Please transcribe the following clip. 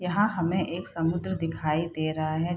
यहाँ हमें एक समुद्र दिखाई दे रहा है।